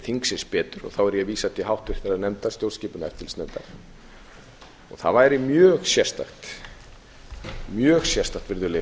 þingsins betur þá er ég að vísa til háttvirtrar nefndar stjórnskipunar og eftirlitsnefndar það væri mjög sérstakt virðulegi